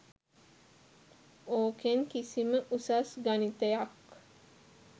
ඕකෙන් කිසිම උසස් ගණිතයක්